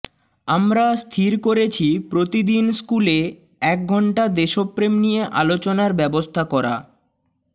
আমরা স্থির করেছি প্রতিদিন স্কুলে এক ঘণ্টা দেশপ্রেম নিয়ে আলোচনার ব্যবস্থা করা